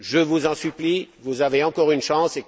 Je vous en supplie, vous avez encore une chance.